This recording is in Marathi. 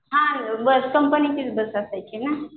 हां बस कंपनीचीच बस असायची ना.